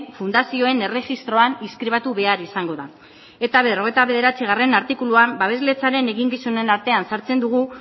fundazioen erregistroan inskribatu behar izango da eta berrogeita bederatzigarrena artikuluan babesletzaren eginkizunen artean sartzen dugu